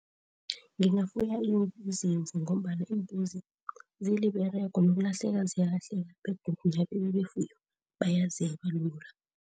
Ngingafuni izimvu ngombana imbuzi ziliberego nokulahleka ziyalahleka begodu befuyo bayazeba lula.